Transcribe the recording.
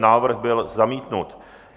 Návrh byl zamítnut.